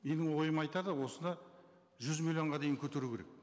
менің ойым айтады осыны жүз миллионға дейін көтеру керек